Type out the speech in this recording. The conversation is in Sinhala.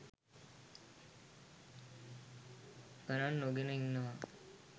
ගණන් නොගෙන ඉන්නවා